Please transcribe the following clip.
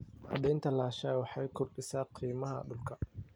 Cadaynta lahaanshaha waxay kordhisaa qiimaha dhulka.